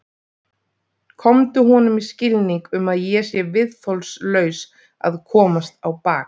Komdu honum í skilning um að ég sé viðþolslaus að komast á bak.